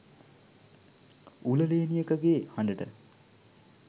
උල ලේනියකගේ හඬට,